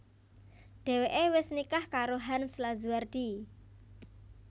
Dhèwèké wis nikah karo Hans Lazuardi